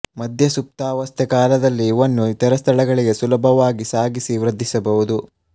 ಮಧ್ಯ ಸುಪ್ತಾವಸ್ಥೆ ಕಾಲದಲ್ಲಿ ಇವನ್ನು ಇತರ ಸ್ಥಳಗಳಿಗೆ ಸುಲಭವಾಗಿ ಸಾಗಿಸಿ ವೃದ್ಧಿಸಬಹುದು